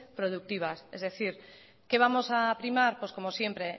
productivas es decir qué vamos a primar pues como siempre